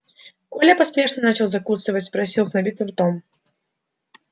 коля поспешно начал закусывать спросил с набитым ртом